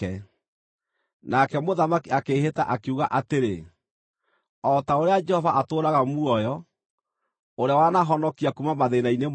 Nake mũthamaki akĩĩhĩta, akiuga atĩrĩ: “O ta ũrĩa Jehova atũũraga muoyo, ũrĩa wanaahonokia kuuma mathĩĩna-inĩ mothe,